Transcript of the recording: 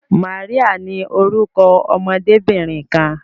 Maria ní orúkọ ọmọdebinrin kan.